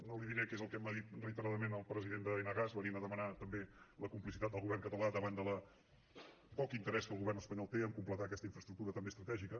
no li diré què és el que m’ha dit reiteradament el president d’enagas que venia a demanar també la complicitat del govern català davant del poc interès que el govern espanyol té de completar aquesta infraestructura també estratègica